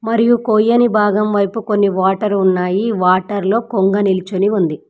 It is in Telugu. మరియు కోయని భాగం వైపు కొన్ని వాటర్ ఉన్నాయి వాటర్ లో కొంగ నిల్చుని ఉంది.